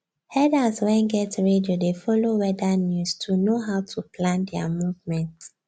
herders wen get radio dey follow weather news to know how to plan their movement